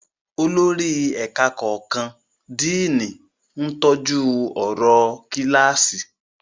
Olórí ẹ̀ka kọ̀ọ̀kan, Díìnì, ń tọ́jú ọ̀rọ̀ kíláàsì.